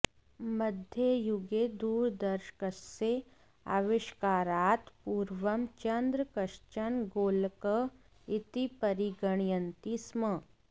मध्ययुगे दूरदर्शकस्य आविष्कारात् पूर्वं चन्द्र कश्चन गोलकः इति परिगणयन्ति स्म